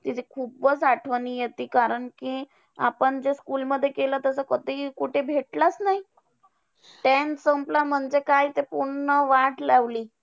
खूपच आठवणी येते कारण कि आपण जे school मध्ये केलं, तस कधीही कुठे भेटलंच नाही. Tenth संपला, म्हणजे काय ते पूर्ण वाट लावली.